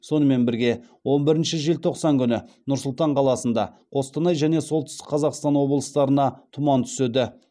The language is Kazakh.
сонымен бірге он бірінші желтоқсан күні нұр сұлтан қаласында қостанай және солтүстік қазақстан облыстарына тұман түседі